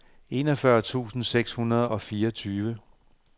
enogfyrre tusind seks hundrede og fireogfyrre